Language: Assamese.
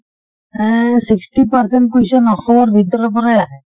এ sixty percent question অসমৰ ভিতৰৰ পৰাই আহে।